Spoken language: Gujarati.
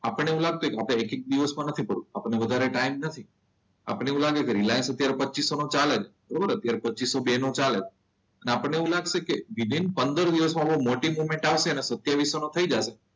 આપણને એવું લાગતું હોય કે આપણે એક દિવસમાં નથી કરવું આપણે વધારે ટાઈમ નથી. આપણને અત્યારે એવું લાગે કે રિલાઇન્સ અત્યારે પચ્ચીસો ચાલે છે. અત્યારે પચ્ચીસો બે નો ચાલે છે. અને આપણને એવું લાગશે કે વિધિન પંદર દિવસમાં કોઈ મોટી મુવમેન્ટ આવશે ને સત્તાવિસો માં થઈ જશે.